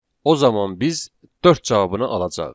O zaman biz dörd cavabını alacağıq.